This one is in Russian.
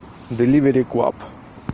деливери клаб